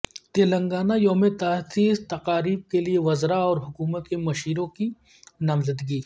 تلنگانہ یوم تاسیس تقاریب کیلئے وزراء اور حکومت کے مشیروں کی نامزدگی